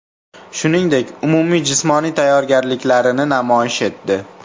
Shuningdek, umumiy jismoniy tayyorgarliklarini namoyish etdi.